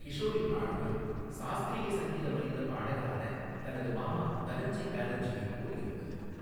கிஷோரின் ஆளுமை சாஸ்திரீய சங்கீதம் அறிந்த பாடகரான தனது மாமா தனஞ்சய் பானர்ஜியைப் போல் இருந்தது.